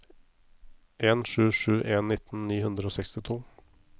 en sju sju en nitten ni hundre og sekstito